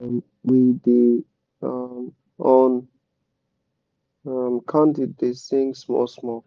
um we da um on um candle da sing small small